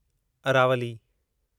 Aravalli